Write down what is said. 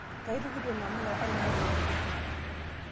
Nkaitukuto namuka ainie pooki